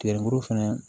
Tigɛ muru fɛnɛ